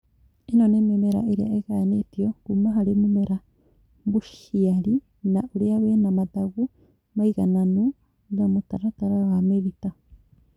ĩno nĩ mĩmera ĩrĩa ĩgayanĩtio kuuma harĩ mũmera mũciari na ũrĩa wĩna mathangũ maigananu na mũtaratara wa mĩrita